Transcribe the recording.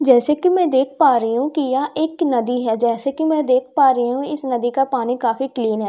जैसे कि मैं देख पा रही हूं कि यह एक नदी है जैसे कि मैं देख पा रही हूं इस नदी का पानी काफी क्लीन है।